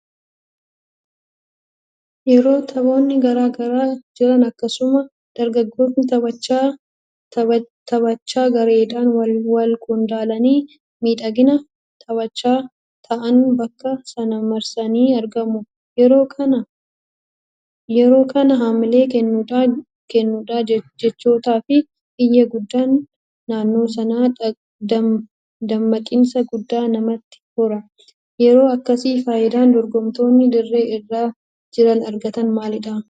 Yeroo taphoonni garaa garaa jiran akkasuma deeggartoonni taphichaa gareedhaan walqoodanii miidhagina taphichaa ta'anii bakka sana marsanii argamu. Yeroo kana haamilee kennuudhaa jechootaafi iyyi guddaan naannoo sanaa dammaqinsa guddaa namatti hora. Yeroo akkasii faayidaan dorgomtoonni dirree irra jiran argatan maalidha?